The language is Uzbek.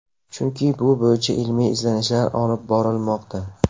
Chunki bu bo‘yicha ilmiy izlanishlar olib borilmoqda.